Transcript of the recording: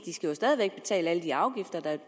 skal jo stadig væk betale alle de afgifter der